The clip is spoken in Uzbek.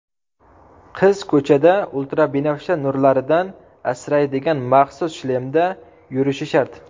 Qiz ko‘chada ultrabinafsha nurlaridan asraydigan maxsus shlemda yurishi shart.